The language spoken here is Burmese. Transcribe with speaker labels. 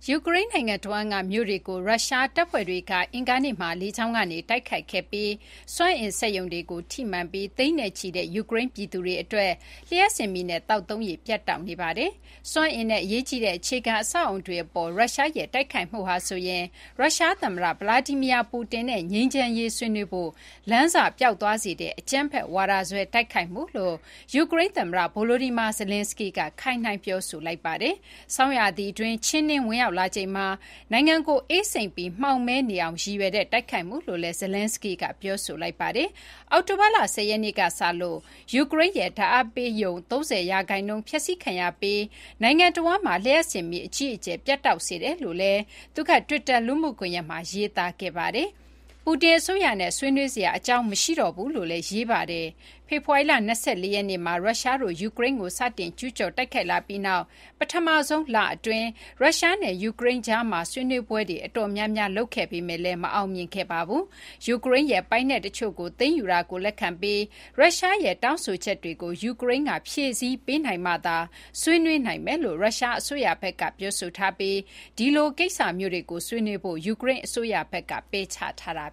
Speaker 1: ယူကရိန်း နိုင်ငံတဝှမ်းက မြို့တွေကို ရုရှားတပ်ဖွဲ့တွေက အင်္ဂါနေ့မှာ လေကြောင်းကနေ တိုက်ခိုက်ခဲ့ပြီး စွမ်းအင်စက်ရုံတွေကို ထိမှန်ကာ သိန်းချီတဲ့ ယူကရိန်း ပြည်သူတွေအတွက် လျှပ်စစ်မီးနဲ့ သောက်သုံးရေ ပြတ်တောက်နေပါတယ်။ စွမ်းအင်နဲ့ အရေးကြီးတဲ့ အခြေခံ အဆောက်အအုံတွေ အပေါ် ရုရှားရဲ့ တိုက်ခိုက်မှုဟာဆိုရင် ရုရှား သမ္မတ Vladimir Putin နဲ့ ငြိမ်းချမ်းရေး ဆွေးနွေးဖို့ လမ်းစ ပျောက်သွားစေတဲ့ အကြမ်းဖက်ဝါဒစွဲ တိုက်ခိုက်မှုလို့ ယူကရိန်း သမ္မတ Volodymyr Zelenskyy က ခိုင်းနှိုင်း ပြောဆိုလိုက်ပါတယ်။ ဆောင်ရာသီတွင်း ချဉ်းနင်း ဝင်ရောက်လာချိန်မှာ နိုင်ငံကို အေးစိမ့်ပြီး မှောင်မည်းနေအောင် ရည်ရွယ်တဲ့ တိုက်ခိုက်မှုလို့လည်း Zelenskyy က ပြောဆိုလိုက်ပါတယ်။ အောက်တိုဘာလ ၁၀ ရက်နေ့ကစလို့ ယူကရိန်းရဲ့ ဓာတ်အားပေးရုံ ၃၀ ရာခိုင်နှုန်း ဖျက်စီးခံရပြီး နိုင်ငံတဝှမ်းမှာ လျှပ်စစ်မီး အကြီးအကျယ် ပြတ်တောက်စေတယ်လို့လည်း သူက Twitter လူမှုကွန်ရက်မှာ ရေးသားခဲ့ပါတယ်။ Putin အစိုးရနဲ့ ဆွေးနွေးစရာ အကြောင်းမရှိတော့ဘူးလို့လည်း ရေးသားခဲ့ပါတယ်။ ဖေဖော်ဝါရီလ ၂၄ ရက်နေ့က ရုရှားတို့ ယူကရိန်းကို စတင် ကျူးကျော် တိုက်ခိုက်လာပြီးနောက် ပထမဆုံး လအတွင်း ရုရှားနဲ့ ယူကရိန်းကြားမှာ ဆွေးနွေးပွဲတွေ အတော်များများ လုပ်ခဲ့ပေမယ့်လည်း မအောင်မြင်ခဲ့ပါဘူး။ ယူကရိန်းရဲ့ ပိုင်နက် တချို့ကို သိမ်းယူတာကို လက်ခံပြီး ရုရှားရဲ့ တောင်းဆိုချက်တွေကို ယူကရိန်းက ဖြည့်ဆည်းပေးနိုင်မှသာ ဆွေးနွေးနိုင်မယ်လို့ ရုရှား အစိုးရဘက်က ပြောဆိုထားပြီး ဒီလို ကိစ္စမျိုးတွေကို ဆွေးနွေးဖို့ ယူကရိန်း အစိုးရဘက်က ပယ်ချထားတာ